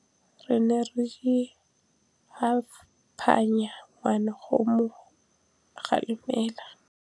Rre o ne a phanya ngwana go mo galemela.